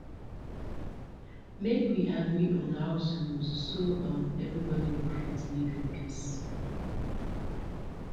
make we agree on house rules so um everybody go fit live in peace